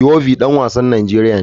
Iwobi dan wasan Najeriya ne.